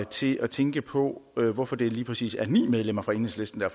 til at tænke på hvorfor det lige præcis er ni medlemmer fra enhedslisten der